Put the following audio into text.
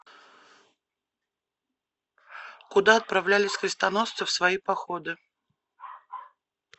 куда отправлялись крестоносцы в свои походы